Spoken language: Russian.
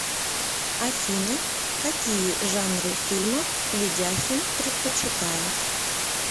афина какие жанры фильмов ведяхин предпочитает